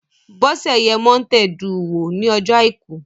Bọ́sẹ̀ yẹ Mọ́nté duù wò ní ọjọ́ àìkú